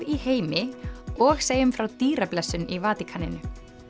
í heimi og segjum frá dýrablessun í Vatíkaninu